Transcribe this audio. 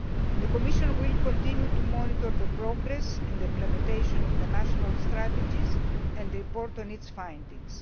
The Commission will continue to monitor the progress and implementation of the national strategies and report on its findings.